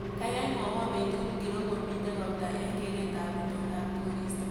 Gaigai mwawon betut ngiro komito ropta eng geretab itondab koristo